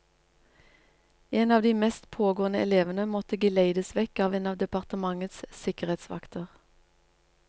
En av de mest pågående elevene måtte geleides vekk av en av departementets sikkerhetsvakter.